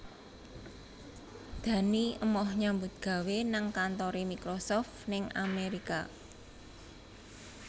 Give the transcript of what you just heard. Dani emoh nyambut gawe nang kantore Microsoft ning Amerika